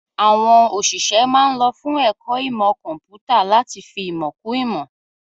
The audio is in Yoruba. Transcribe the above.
Àwọn òṣìṣẹ́ ma ń lọ fún ẹ̀kọ́ ìmọ̀ kọ̀ḿpútà láti fi ìmọ̀ kún ìmọ̀